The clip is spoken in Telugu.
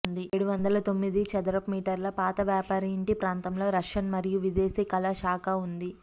ఏడువందల తొమ్మిది చదరపు మీటర్ల పాత వ్యాపారి ఇంటి ప్రాంతంలో రష్యన్ మరియు విదేశీ కళా శాఖ ఉంది